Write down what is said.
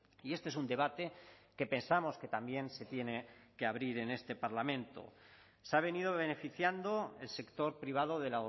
y este es un debate que pensamos que también se tiene que abrir en este parlamento se ha venido beneficiando el sector privado de